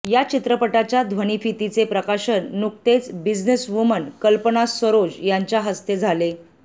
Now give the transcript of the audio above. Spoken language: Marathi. या चित्रपटाच्या ध्वनिफितीचे प्रकाशन नुकतेच बिझनेसवुमन कल्पना सरोज यांच्या हस्ते झाले